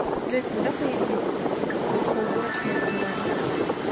джой когда появились хлопкоуборочные комбайны